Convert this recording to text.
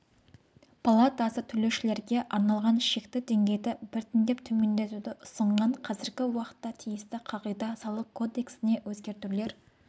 палатасы төлеушілерге арналған шекті деңгейді біртіндеп төмендетуді ұсынған қазіргі уақытта тиісті қағида салық кодексіне өзгертулер